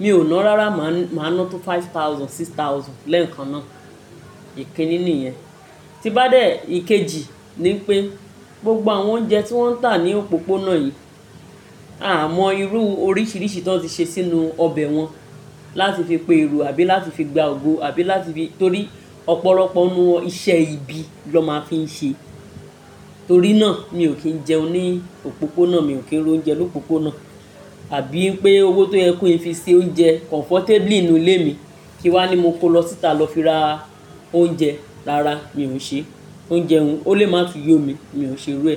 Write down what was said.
mi ò ná rárá, máa ná tó five thousand, six thousand lẹ́ẹ̀kan náà. Ìkiní ní yẹn. Tí n bá dẹ̀ ìkejì ni pé gbogbo àwọn oúnjẹ tí wọ́n ń tà ní òpópónà yìí, a o mọ irú oríṣiríṣi tí wọ́n ti ṣe sínú ọbẹ̀ wọn láti fi pe èrò àbí láti fi gba ògo àbí láti fi-- torí ọ̀pọ̀lọpọ̀ ninú wọn iṣẹ́ ibi ló máa fi ń ṣe. Torí náà ni mi ò kí ń jẹun ní òpópónà, mi ò kí ń ro oúnjẹ lópópónà. Àbí pé owó tó yẹ kó fi ṣe oúnjẹ comfortably nínú ilé mi kí n wá ní mo kó lọ síta lọ fi ra oúnjẹ rára, mi ò n ṣe é. Oúnjẹ ohun, ó lè máa tun yómi, mi ò ṣe n ru ẹ.